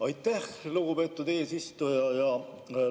Aitäh, lugupeetud eesistuja!